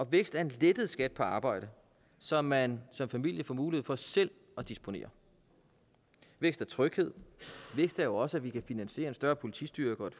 vækst er en lettet skat på arbejde så man som familie får mulighed for selv at disponere vækst er tryghed vækst er jo også at vi kan finansiere en større politistyrke og